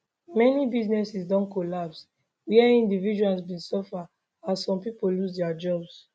many businesses don collapse wia individuals bin suffer as some pipo lose dia jobs